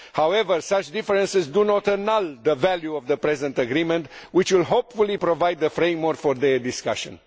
However, such differences do not annul the value of the present agreement which will hopefully provide the framework for their discussion.